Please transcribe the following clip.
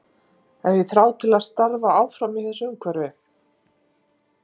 Hef ég þrá til að starfa áfram í þessu umhverfi?